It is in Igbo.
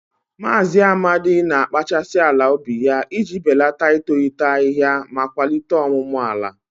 Maazị Amadi na-akpachasị ala ubi ya iji belata itolite ahihia ma kwalite ọmụmụ ala.